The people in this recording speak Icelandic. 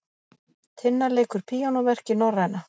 Tinna leikur píanóverk í Norræna